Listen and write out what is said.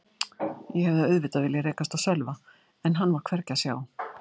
Ég hefði auðvitað viljað rekast á Sölva en hann var hvergi að sjá.